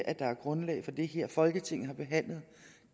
at der er grundlag for det her folketinget har behandlet